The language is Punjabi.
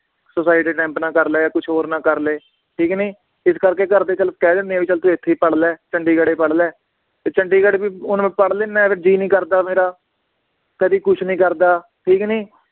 Suicide attempt ਨਾ ਕਰਲੇ ਕੁਛ ਹੋਰ ਨਾ ਕਰਲੇ ਠੀਕ ਨੀ, ਇਸ ਕਰਕੇ ਘਰਦੇ ਚਲ ਕਹਿ ਦਿੰਦੇ ਵੀ ਚਲ ਤੂੰ ਇਥੇ ਈ ਪੜ੍ਹਲੇ ਚੰਡੀਗੜ੍ਹ ਹੀ ਪੜ੍ਹਲੇ ਤੇ ਚੰਡੀਗੜ੍ਹ ਵੀ ਹੁਣ ਮੈ ਪੜ੍ਹ ਲੈਨਾ ਹੈ, ਫਿਰ ਜੀ ਨੀ ਕਰਦਾ ਮੇਰਾ ਕਦੀ ਕੁਛ ਨੀ ਕਰਦਾ ਠੀਕ ਨੀ